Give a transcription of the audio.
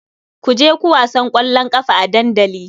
Ku je ku wasan ƙwallon ƙafa a dandali.